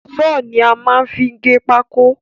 Saw ni a má n fi gé pákó